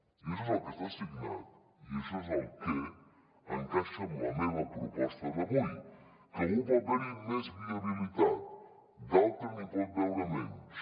i això és el que està signat i això és el que encaixa amb la meva proposta d’avui que algú pot veure hi més viabilitat d’altres n’hi poden veure menys